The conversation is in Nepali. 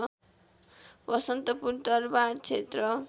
बसन्तपुर दरवारक्षेत्र